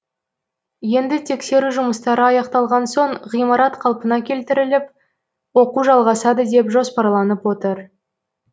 енді тексеру жұмыстары аяқталған соң ғимарат қалпына келтіріліп оқу жалғасады деп жоспарланып отыр